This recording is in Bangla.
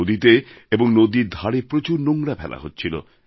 নদীতে এবং নদীর ধারে প্রচুর নোংরা ফেলা হচ্ছিল